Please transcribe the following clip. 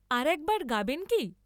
আর একবার গাবেন কি?